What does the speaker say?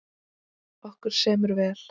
Okkur semur vel